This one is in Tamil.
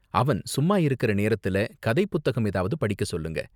அவன் சும்மா இருக்கிற நேரத்துல கதை புத்தகம் ஏதாவது படிக்க சொல்லுங்க.